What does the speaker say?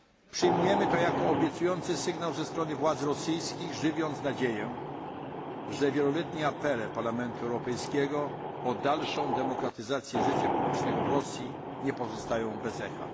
Przyjmujemy to jako obiecujący sygnał ze strony władz rosyjskich, żywiąc nadzieję, że wieloletnie apele Parlamentu Europejskiego o dalszą demokratyzację życia publicznego w Rosji nie pozostają bez echa.